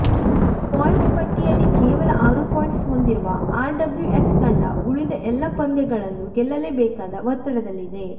points ಪಟ್ಟಿಯಲ್ಲಿ ಕೇವಲ ಆರು ಪಾಯಿಂಟ್ಸ್ ಹೊಂದಿರುವ ಆರ್ಡಬ್ಲ್ಯುಎಫ್ ತಂಡ ಉಳಿದ ಎಲ್ಲಾ ಪಂದ್ಯಗಳನ್ನು ಗೆಲ್ಲಲೇಬೇಕಾದ ಒತ್ತಡದಲ್ಲಿದೆ